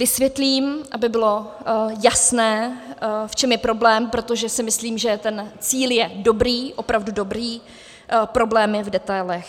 Vysvětlím, aby bylo jasné, v čem je problém, protože si myslím, že ten cíl je dobrý, opravdu dobrý, problém je v detailech.